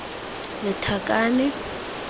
lethakane